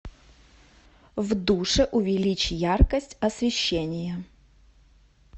в душе увеличь яркость освещения